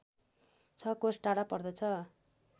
६ कोस टाढा पर्दछ